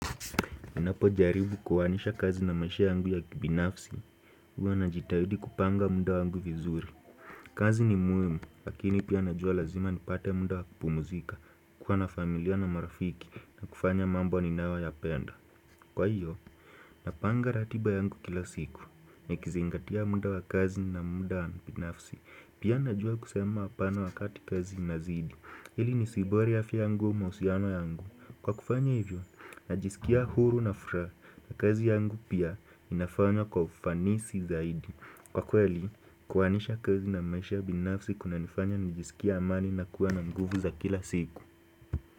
Ninapo jaribu kuhanisha kazi na maisha yangu ya kibinafsi, huwa najitahidi kupanga muda wangu vizuri. Kazi ni muhimu, lakini pia najua lazima nipate muda wakupumuzika, niko na familia na marafiki na kufanya mambo ninayoya penda. Kwa hivyo, napanga ratiba yangu kila siku, nikizingatia muda wa kazi na muda wa kibiinafsi. Pia najua kusema hapana wakati kazi inazidi, ili ni siibori afya yangu mahusiano yangu. Kwa kufanya hivyo, najisikia huru na furaha kazi yangu pia inafanywa kwa ufanisi zaidi Kwa kweli, kuwanisha kazi na maisha binafsi kuna nifanya nijisikia amani na kuwa na nguvu za kila siku.